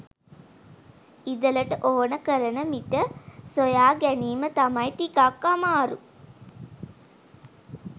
ඉදලට ඕන කරන මිට හොයාගැනීම තමයි ටිකක් අමාරු